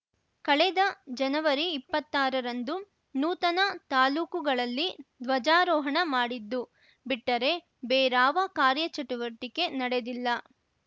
ಕಳೆದ ಜನವರಿ ಇಪ್ಪತ್ತಾರರಂದು ನೂತನ ತಾಲ್ಲೂಕುಗಳಲ್ಲಿ ಧ್ವಜಾರೋಹಣ ಮಾಡಿದ್ದು ಬಿಟ್ಟರೆ ಬೇರಾವ ಕಾರ್ಯಚಟುವಟಿಕೆ ನಡೆದಿಲ್ಲ